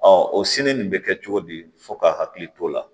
o nin bɛ kɛ cogo di fo k'a hakili to o la